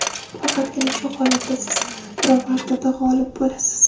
Faqatgina shu holatda siz pirovardida g‘olib bo‘lasiz.